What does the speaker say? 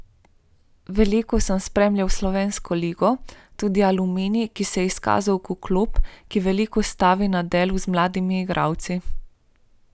Veliko sem spremljal slovensko ligo, tudi Aluminij, ki se je izkazal kot klub, ki veliko stavi na delo z mladimi igralci.